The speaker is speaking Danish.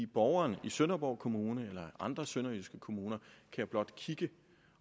borgerne i sønderborg kommune eller andre sønderjyske kommuner kan blot se til